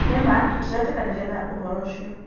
Nĩma tũtiretĩkanĩria na ũhoro ũcio.